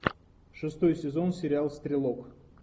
шестой сезон сериал стрелок